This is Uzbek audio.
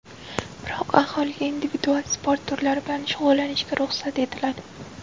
Biroq aholiga individual sport turlari bilan shug‘ullanishga ruxsat etiladi.